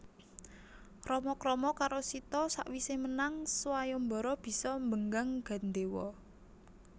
Rama krama karo Sita sawisé menang swayambara bisa mbenggang gandéwa